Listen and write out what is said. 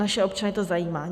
Naše občany to zajímá.